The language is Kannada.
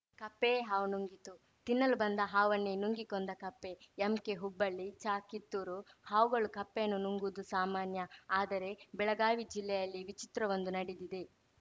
ಕಪ್ಪೆಯೇ ಹಾವು ನುಂಗಿತು ತಿನ್ನಲು ಬಂದ ಹಾವನ್ನೇ ನುಂಗಿ ಕೊಂದ ಕಪ್ಪೆ ಎಂಕೆಹುಬ್ಬಳ್ಳಿಚಕಿತ್ತೂರು ಹಾವುಗಳು ಕಪ್ಪೆಯನ್ನು ನುಂಗುವುದು ಸಾಮಾನ್ಯ ಆದರೆ ಬೆಳಗಾವಿ ಜಿಲ್ಲೆಯಲ್ಲಿ ವಿಚಿತ್ರವೊಂದು ನಡೆದಿದೆ